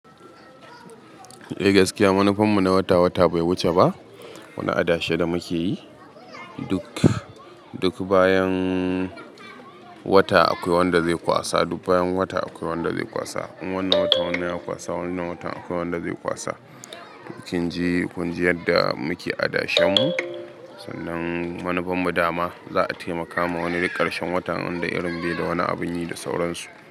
Eh gaskiya, manufar mu na wata-wata bai wuce ba. Wani adashe da muke yi, duk bayan wata akwai wanda zai kwasa, duk bayan wata akwai wanda zai kwasa. Wannan watan wani ya kwasa, wannan watan akwai wanda zai kwasa. Duk kin ji, kun ji yadda muke adashen mu, sannan manufar mu dama za'a taimakawa wani rikarshen watan inda irin bai da wani abun yi da sauransu.